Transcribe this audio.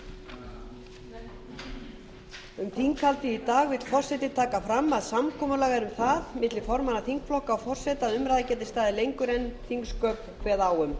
um þinghaldið í dag vill forseti taka fram að samkomulag er um það milli formanna þingflokka og forseta að umræða geti staðið lengur en þingsköp kveða á um